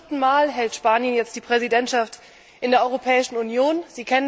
Zum vierten Mal übt Spanien jetzt die Präsidentschaft in der Europäischen Union aus.